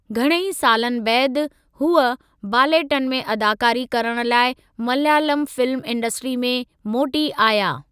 घणेई सालनि बैदि, हूअ बालेट्टन में अदाकारी करण लाइ मलयालम फिल्म इंडस्ट्री में मोटी आया।